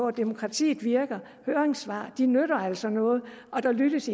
at demokratiet virker høringssvar nytter altså noget der lyttes